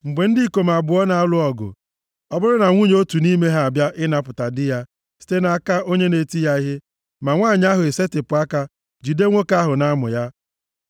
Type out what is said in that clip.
Mgbe ndị ikom abụọ na-alụ ọgụ, ọ bụrụ na nwunye otu nʼime ha abịa ịnapụta di ya site nʼaka onye na-eti ya ihe, ma nwanyị ahụ esetipụ aka jide nwoke ahụ nʼamụ ya,